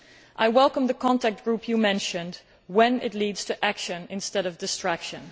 I welcome the contact group you mentioned if it leads to action instead of distraction.